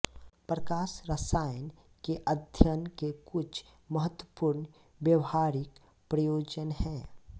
प्रकाश रसायन के अध्ययन के कुछ महत्वपूर्ण व्यावहारिक प्रयोजन हैं